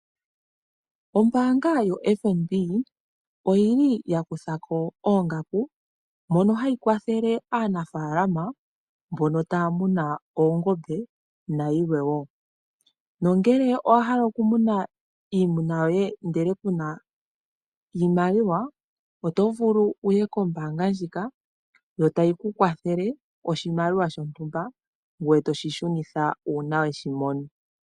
Ombaanga yoFNB oyili ya kutha ko oongaku mono hayi kwathele aanafaalama mbono taya muna oongombe nayilwe woo, nongele owa hala okumuna iimuna ndele ku na iimaliwa oto vulu wu ye kombaanga ndjika yo tayi ku kwathele oshimaliwa shontumba ngoye toshishunitha uuna weshimono.